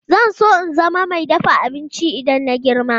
Zan so in zama mai dafa abinci idan na girma.